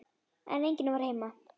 En enginn var heima.